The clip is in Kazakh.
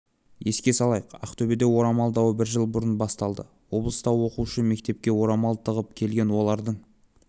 еске салайық ақтөбеде орамал дауы бір жыл бұрын басталды облыста оқушы мектепке орамал тағып келген олардың